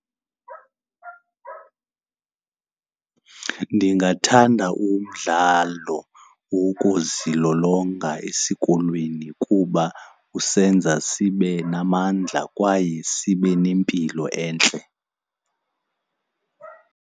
Ndingathanda umdlalo wokuzilolonga esikolweni kuba usenza sibe namandla kwaye sibe nempilo entle.